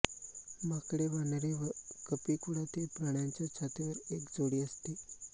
माकडेवानरे व कपीकुळातील प्राण्यांच्या छातीवर एक जोडी असते